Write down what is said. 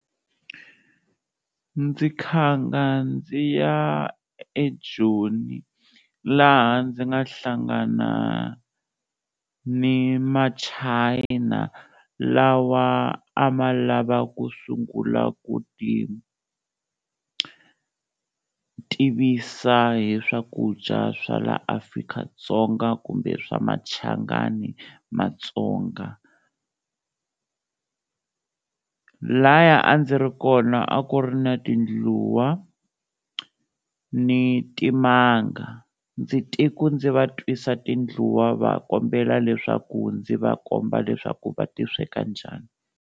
Ndzi khanga ndzi ya eJoni laha ndzi nga hlangana ni ma China lawa a ma lava ku sungula ku ti tivisa hi swakudya swa la Afrika-Dzonga kumbe swa Machangani Matsonga, lhaya a ndzi ri kona a ku ri na tindluwa ni timanga, ndzi te ku ndzi va twisa tindluwa va kombela leswaku ndzi va komba leswaku va ti sweka njhani.